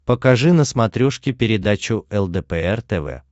покажи на смотрешке передачу лдпр тв